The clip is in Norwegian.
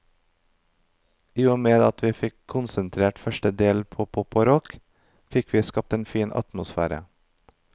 I og med at vi fikk konsentrert første del på pop og rock, fikk vi skapt en fin atmosfære.